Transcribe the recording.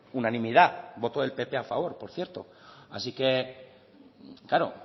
unanimidad voto del pp a favor por cierto así que claro